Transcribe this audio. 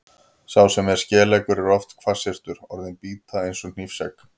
Sá sem er skeleggur er oft hvassyrtur, orðin bíta eins og hnífsegg.